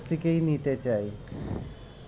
নিতে চাই